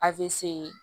Afe